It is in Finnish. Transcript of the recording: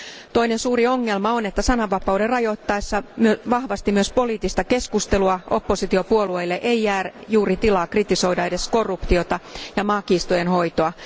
Toinen suuri ongelma on, että sananvapauden rajoittaessa vahvasti myös poliittista keskustelua opositiopuolueille ei jää juuri tilaa kritisoida edes korruptiota ja maakiistojen hoitoa.